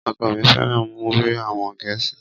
Ọkọ mi fẹ́ràn múfì àwọn gẹ̀ẹ́sì